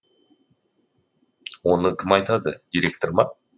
оны кім айтады директор ма